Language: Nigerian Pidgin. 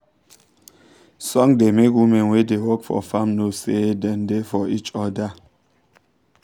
song da make women wey da work for farm know say dem da for each oda